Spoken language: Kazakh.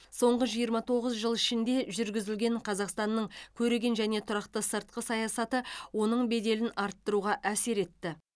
соңғы жиырма тоғыз жыл ішінде жүргізілген қазақстанның көреген және тұрақты сыртқы саясаты оның беделін арттыруға әсер етті